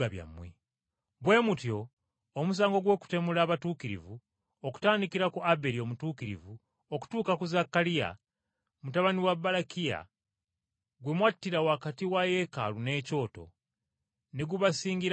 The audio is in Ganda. Bwe mutyo omusango gw’okutemula abatuukirivu, okutandikira ku Aberi omutuukirivu okutuuka ku Zaakaliya, mutabani wa Balakiya gwe mwattira wakati wa yeekaalu n’ekyoto, ne gubasingira ddala.